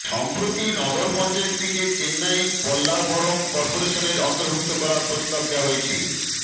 সম্প্রতি নগর পঞ্চায়েতটিকে চেন্নাই পল্লাবরম কর্পোরেশনের অন্তর্ভুক্ত করার প্রস্তাব দেওয়া হয়েছে